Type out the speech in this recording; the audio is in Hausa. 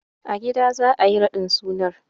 A gida za a yi raɗin sunan.